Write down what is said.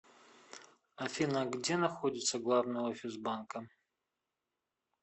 афина где находится главный офис банка